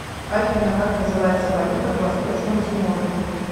афина как называется валюта в восточном тиморе